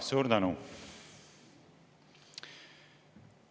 Suur tänu!